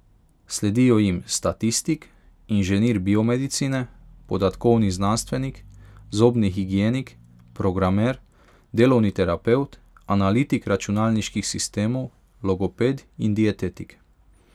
Sledijo jim statistik, inženir biomedicine, podatkovni znanstvenik, zobni higienik, programer, delovni terapevt, analitik računalniških sistemov, logoped in dietetik.